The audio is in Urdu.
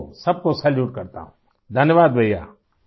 میں سب کو سلام کرتا ہوں ، شکریہ بھائیوں